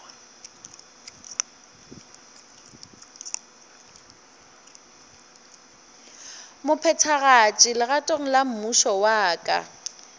mophethagatši legatong la mmušo wa